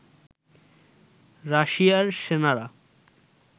রাশিয়ার সেনারা